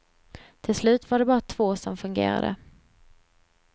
Till slut var det bara två som fungerade.